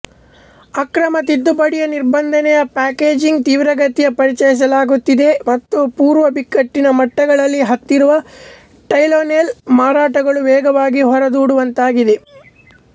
ಅಕ್ರಮ ತಿದ್ದುಪಡಿಯ ನಿರ್ಬಂಧನೆಯ ಪ್ಯಾಕೇಜಿಂಗ್ ತೀವ್ರಗತಿಯಲ್ಲಿ ಪರಿಚಯಿಸಲಾಗುತ್ತಿದೆ ಮತ್ತು ಪೂರ್ವಬಿಕ್ಕಟ್ಟಿನ ಮಟ್ಟಗಳಲ್ಲಿ ಹತ್ತಿರುವ ಟೈಲೆನೋಲ್ ಮಾರಾಟಗಳು ವೇಗವಾಗಿ ಹೊರಡೂಡುವಂತಾಗಿದೆ